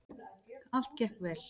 Allt gekk vel.